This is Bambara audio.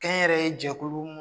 Kɛ n yɛrɛ ye jɛkulu